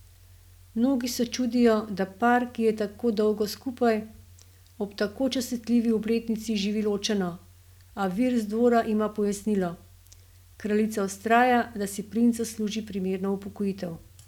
Mnogi se čudijo, da par, ki je tako dolgo skupaj, ob tako častitljivi obletnici živi ločeno, a vir z dvora ima pojasnilo: "Kraljica vztraja, da si princ zasluži primerno upokojitev.